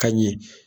Ka ɲɛ